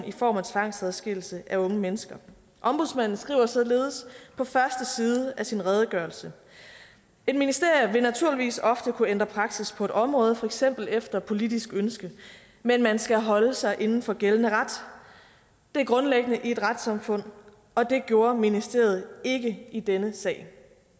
i form af tvangsadskillelse af unge mennesker ombudsmanden skriver således på første side af sin redegørelse et ministerium vil naturligvis ofte kunne ændre praksis på et område for eksempel efter politisk ønske men man skal holde sig inden for gældende ret det er grundlæggende i et retssamfund og det gjorde ministeriet ikke i denne sag